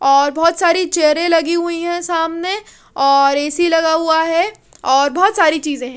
और बोहोत साड़ी चेयर भी लगी हुई है सामने और ए_सी लगा हुआ है और बोहोत सारी चीज़े है।